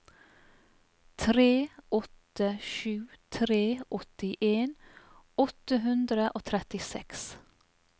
tre åtte sju tre åttien åtte hundre og trettiseks